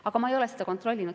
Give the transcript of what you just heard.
Aga ma ei ole seda kontrollinud.